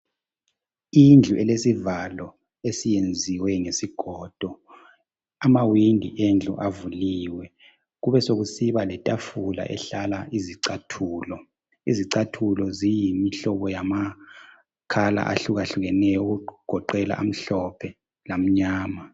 Indlu elesivalo esiyenziweyo ngesigodo. Amawindi endlu avuliwe, kubesekusiba letafula ehlala izicathulo. Izicathulo ziyimihlobo yamakhala ahlukahlukeneyo okugoqela amhlophe lamnyama.